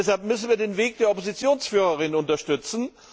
Deshalb müssen wir den Weg der Oppositionsführerin unterstützen.